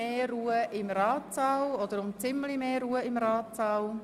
Ich bitte um etwas mehr Ruhe im Ratssaal.